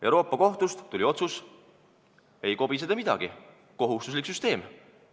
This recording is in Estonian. Euroopa Kohtust tuli otsus: ei kobise te midagi, kohustuslik süsteem!